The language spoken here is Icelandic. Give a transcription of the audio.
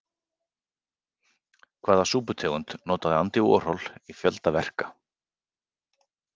Hvaða súputegund notaði Andy Warhol í fjölda verka?